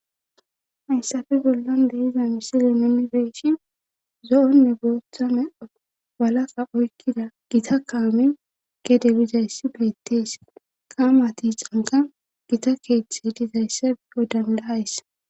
hayssafe bollon de7iza misili nuni be7ishin zo7onne booththa meda walaka oykkida gita kawami gede bizayssi beettees qaamati canka gita keeththi dizayssa iyo dandaays.